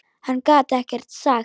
Hann gat ekkert sagt.